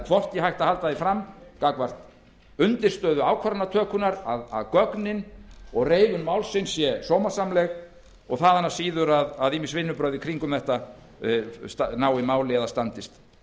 hvorki hægt að halda því fram gagnvart undirstöðu ákvarðanatökunnar að gögnin og reifun málsins séu sómasamleg og þaðan af síður að ýmis vinnubrögð í kringum þetta nái máli eða standist